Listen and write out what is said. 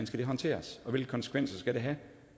skal håndteres og hvilke konsekvenser det skal have